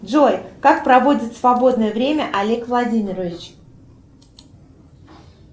джой как проводит свободное время олег владимирович